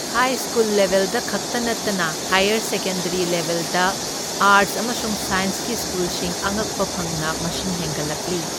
ꯍꯥꯏ school ꯂꯦꯕꯦꯜꯗ ꯈꯛꯇ ꯅꯠꯇꯅ ꯍꯥꯌꯔ ꯁꯦꯀꯦꯟꯗꯔꯤ ꯂꯦꯕꯦꯜꯗ ꯑꯥꯔꯠꯁ ꯑꯃꯁꯨꯡ ꯁꯥꯏꯟꯁꯀꯤ ꯁ꯭ꯀꯨꯜꯁꯤꯡ ꯑꯉꯛꯄ ꯐꯪꯅ ꯃꯁꯤꯡ ꯍꯦꯟꯒꯠꯂꯛꯂꯤ꯫